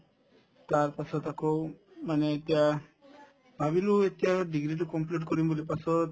তাৰপাছত আকৌ মানে এতিয়া ভাবিলো এতিয়া degree তো complete কৰিম বুলি পাছত